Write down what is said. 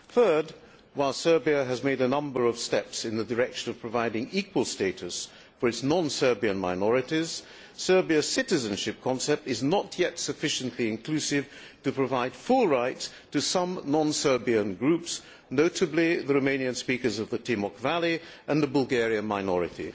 Thirdly, while Serbia has taken a number of steps in the direction of providing equal status for its non Serbian minorities, its citizenship concept is not yet sufficiently inclusive to provide full rights to some non Serbian groups, notably the Romanian speakers of the Timok Valley and the Bulgarian minority.